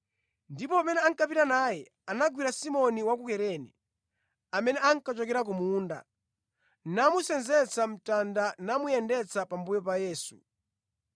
Ndipo pamene ankapita naye, anagwira Simoni wa ku Kurene, amene ankachokera ku munda, namusenzetsa mtanda namuyendetsa pambuyo pa Yesu.